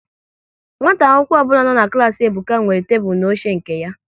Nwata akwụkwọ ọbụla nọ n'klas Ebuka nwere tebụl na oche nke ya